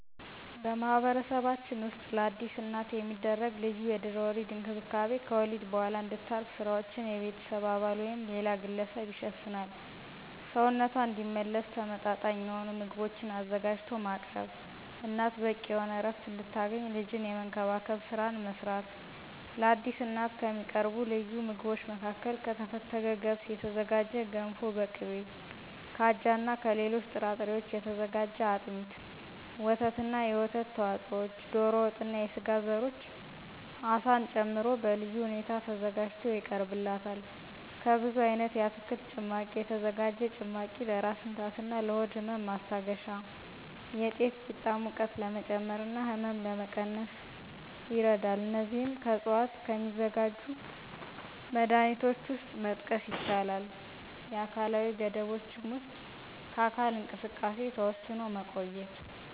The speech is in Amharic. በማህበረሰባችን ውስጥ ለአዲስ እናት የሚደረግ ልዩ የድህረ ወሊድ እንክብካቤ ከወሊድ በኋላ እንድታርፍ ስራዎችን የቤተሰብ አባል ወይም ሌላ ግለሰብ ይሸፍናል፣ ሰውነቷ እንዲመለስ ተመመጣጣኝ የሆኑ ምግቦችን አዘጋጅቶ ማቅረብ፣ እናት በቂ የሆነ ዕረፍት እንድታገኝ ልጅን የመንከባከብን ስራ መስራት። ለአዲስ እናት ከሚቀርቡ ልዩ ምግቦች መካከል ከተፈተገ ገብስ የተዘጋጀ ገንፎ በቅቤ፣ ከአጃና ከሌሎች ጥራጥሬዎች የተዘጋጀ አጥሚት፣ ወተትና የወተት ተዋጽኦዎች፣ ዶሮ ወጥና የስጋ ዘሮች አሳን ጨምሮ በልዩ ሁኔታ ተዘጋጅቶ ይቀርብላታል። ከብዙ አይነት የአትክልት ጭማቂ የተዘጋጀ ጭማቂ ለራስ ምታትና ለሆድ ህመም ማስታገሻ፣ የጤፍ ቂጣ ሙቀት ለመጨመርና ህመም ለመቀነስ ይረዳል። እነዚህም ከዕፅዋት ከሚዘጋጁ መድሀኒቶች ውስጥ መጥቀስ ይቻላል። የአካላዊ ገደቦችም ውስጥ ከአካል እንቅስቃሴ ተወስኖ መቆየት።